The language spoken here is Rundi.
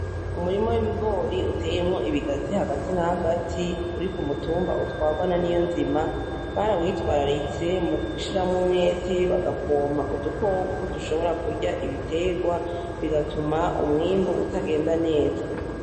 Umurima w'ibigori uteyemwo ibigazi hagati na hagati, uri k'umutumba utwarwa na NIYONZIMA; Barawitwararitse mugushiramwo umwete bagapompa udukoko dushobora kurya ibiterwa, bigatuma umwimbu utagenda neza.